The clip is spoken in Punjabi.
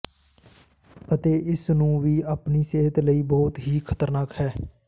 ਅਤੇ ਇਸ ਨੂੰ ਵੀ ਆਪਣੀ ਸਿਹਤ ਲਈ ਬਹੁਤ ਹੀ ਖ਼ਤਰਨਾਕ ਹੈ